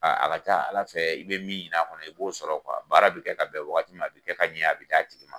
a ka ca ala fɛ i be min ɲini a kɔnɔ, i b'o sɔrɔ baara bi kɛ ka bɛn wagati ma, a bi kɛ ka ɲa, a bi d'a tigi ma.